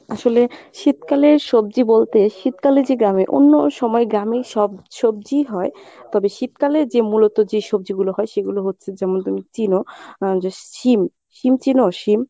আসলে শীতকালের সবজি বলতে শীতকালে যে গ্রামে অন্য সময় গ্রামে সব সবজি হয় তবে শীতকালে যে মূলত যে সবজিগুলো হয় সেগুলো হচ্ছে যেমন তুমি চিনো আহ যে শিম, শিম চিনো শিম?